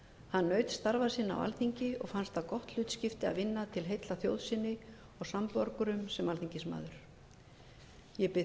hann naut starfa sinna á alþingi og fannst það gott hlutskipti að vinna til heilla þjóð sinni og samborgurum sem alþingismaður ég bið